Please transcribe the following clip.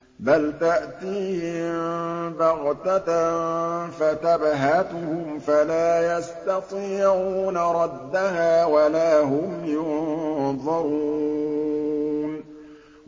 بَلْ تَأْتِيهِم بَغْتَةً فَتَبْهَتُهُمْ فَلَا يَسْتَطِيعُونَ رَدَّهَا وَلَا هُمْ يُنظَرُونَ